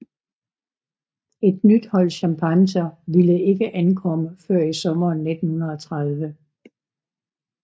Et nyt hold chimpanser ville ikke ankomme før i sommeren 1930